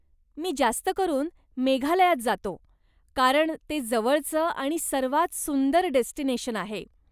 मी जास्त करून मेघालयात जातो, कारण ते जवळचं आणि सर्वांत सुंदर डेस्टिनेशन आहे.